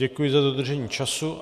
Děkuji za dodržení času.